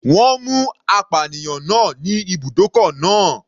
Wọ́n mú apànìyàn náà ní ibùdókọ̀ náà.